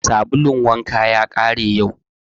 Sabulun wanka ya ƙare yau